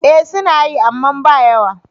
Eh suna yi, amma ba yawa.